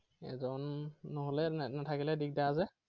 এজন নহলে, নাথাকিলে দিগদাৰ যে।